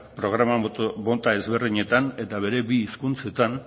programa mota ezberdinetan eta bere bi hizkuntzetan